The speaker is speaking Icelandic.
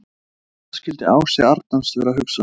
Hvað skildi Ási Arnars vera að hugsa?